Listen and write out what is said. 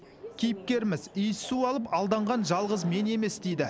кейіпкеріміз иіссу алып алданған жалғыз мен емес дейді